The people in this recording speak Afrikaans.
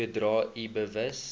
sodra u bewus